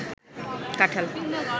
কাঁঠাল